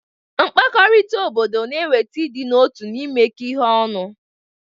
Mkpakọrịta obodo na-eweta ịdị n'otu na imekọ ihe ọnụ.